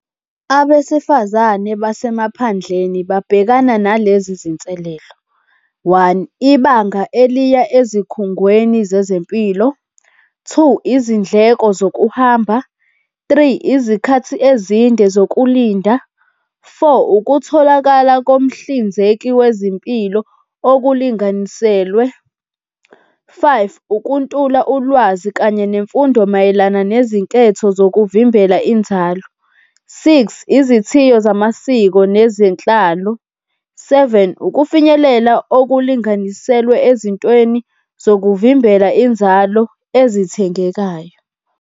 Abesifazane basemaphandleni babhekana nalezi zinselelo, one, ibanga eliya ezikhungweni zezempilo. Two, izindleko zokuhamba. Three, izikhathi ezinde zokulinda. Four, ukutholakala komhlinzeki wezimpilo okulinganiselwe. Five, ukuntula ulwazi kanye nemfundo mayelana nezinketho zokuvimbela inzalo. Six, izithiyo zamasiko nezenhlalo. Seven, ukufinyelela okulinganiselwe ezintweni zokuvimbela inzalo ezithengekayo.